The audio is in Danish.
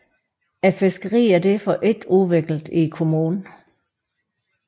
Fiskeriet er derfor ikke udviklet i kommunen